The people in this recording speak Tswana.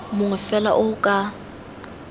mongwe fela o o ka